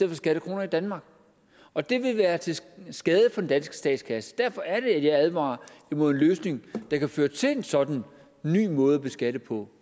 for skattekroner i danmark og det vil være til skade for den danske statskasse derfor er det at jeg advarer imod en løsning der kan føre til en sådan ny måde at beskatte på